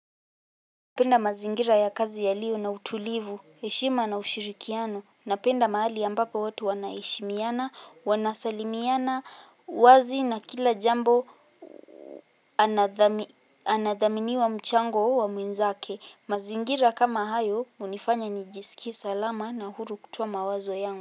Penda mazingira ya kazi ya liyo na utulivu, eshima na ushiriki yano, na penda maali ya mbapu watu wana eshimiana, wana salimiana, wazi na kila jambo anathaminiwa mchango owa mwinzake. Mazingira kama ayo, munifanya nijisiki salama na hurukutwa mawazo yangu.